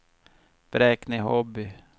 Bräkne-Hoby